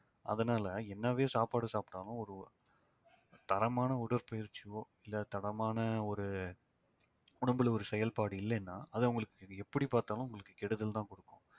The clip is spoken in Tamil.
அதனாலே என்னவே சாப்பாடு சாப்பிட்டாலும் ஒரு ஒரு தரமான உடற்பயிற்சியோ இல்லை தரமான ஒரு உடம்புல ஒரு செயல்பாடு இல்லைன்னா அது அவங்களுக்கு இது எப்படி பார்த்தாலும் உங்களுக்கு கெடுதல்தான் கொடுக்கும்